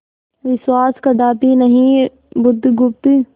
विश्वास कदापि नहीं बुधगुप्त